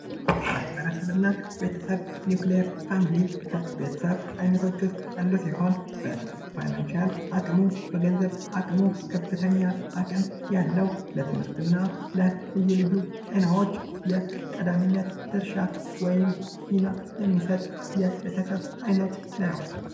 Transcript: ማህበረሰብና ቤተሰብ ኒውክለር ፋሚሊ በገንዘብ አቅሙ ከፍተኛ አቅም ያለው ለትምህርትና ለልዩ ልዩ ጤናዎች የቀዳሚነት ድርሻ ወይም ድርሻ የሚሰጥ የቤተሰብ ዓይነት ነው